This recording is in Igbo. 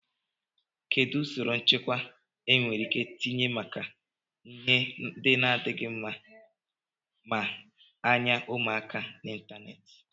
Kedụ usoro nchekwa e nwereike itinye maka ihe ndị adịghị mma maa anya ụmụaka n'Ịntanet?